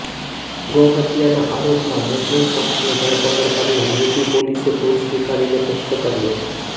ગૌહત્યાના આરોપમાં મુસ્લિમ શખ્સની ધરપકડ કરનાર યુપી પોલીસે ભૂલ સ્વીકારીને મુક્ત કર્યો